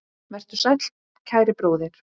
Vertu sæll, kæri bróðir.